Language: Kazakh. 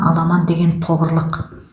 аламан деген тобырлық